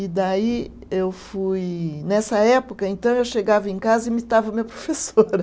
E daí eu fui, nessa época, então, eu chegava em casa e imitava a minha professora.